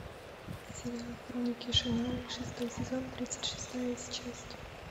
сериал хроники шаннары шестой сезон тридцать шестая часть